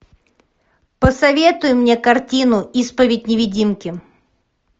посоветуй мне картину исповедь невидимки